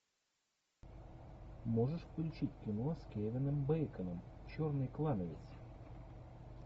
можешь включить кино с кевином бейконом черный клановец